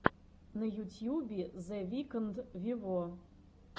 на ютьюбе зе викнд вево